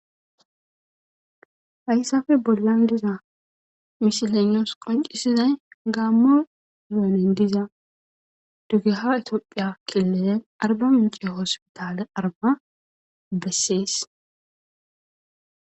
hayssafe bollan diza mishilenioos qoncisizay gaamma renen diza dugeha itoophiya killelen arba mincio ospitale arba bessees